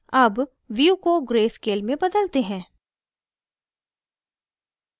अब view को gray scale में बदलते हैं